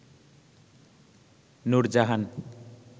Nurjahan